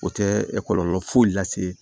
O tɛ kɔlɔlɔ foyi lase